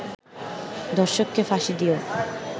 ধর্ষককে ফাঁসি দিয়েও